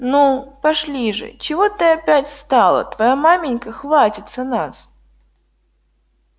ну пошли же чего ты опять стала твоя маменька хватится нас